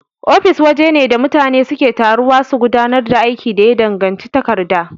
Ofis wajene da mutane suke taruwa su gudanar da aiki da ya danganci takarda.